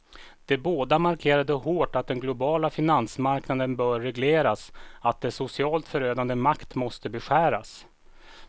De båda markerade hårt att den globala finansmarknaden bör regleras, att dess socialt förödande makt måste beskäras.